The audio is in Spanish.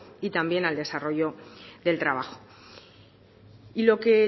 y también al desarrollo del trabajo y lo que